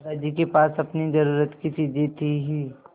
दादाजी के पास अपनी ज़रूरत की चीजें थी हीं